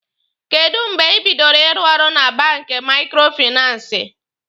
Kèdụ́ mgbe ị bidoro ịrụ ọrụ na banki maikrofinansi?